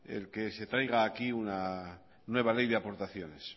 el que se traiga aquí una nueva ley de aportaciones